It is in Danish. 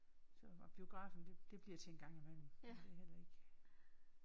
Så og biografen det bliver til engang imellem men det er heller ikke